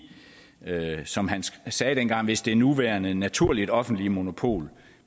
som han sagde dengang hvis det nuværende naturligt offentlige monopol